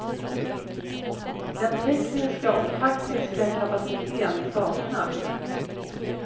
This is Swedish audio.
Den tekniska och taktiska kapaciteten saknas.